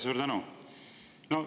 Suur tänu!